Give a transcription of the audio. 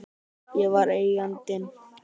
Ég var Eigandinn.